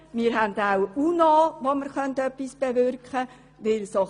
Wir haben auch die UNO, wo wir etwas bewirken könnten.